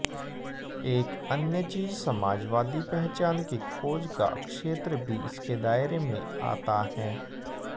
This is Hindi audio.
एक अन्य चीज समाजवादी पहचान की खोज का क्षेत्र भी इसके दायरे में आता है